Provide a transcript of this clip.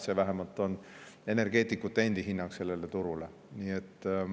See on vähemalt energeetikute endi hinnang sellele turule.